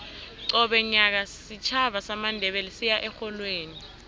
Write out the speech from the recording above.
qobe nyaka isitjhaba samandebele siya erholweni